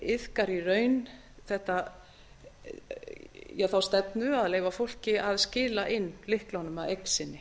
iðkar í raun þá stefnu að leyfa fólki að skila inn lyklunum að eign sinni